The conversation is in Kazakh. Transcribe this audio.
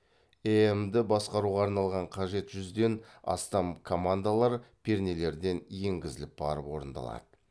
эем ді басқаруға арналған қажет жүзден астам командалар пернелерден енгізіліп барып орындалады